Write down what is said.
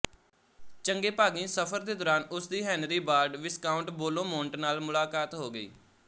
ਚੰਗੇ ਭਾਗੀਂ ਸਫਰ ਦੇ ਦੌਰਾਨ ਉਸ ਦੀ ਹੈਨਰੀ ਬਾਰਡ ਵਿਸਕਾਊਂਟ ਬੇਲੋਮੋਨਟ ਨਾਲ ਮੁਲਾਕਾਤ ਹੋ ਗਈ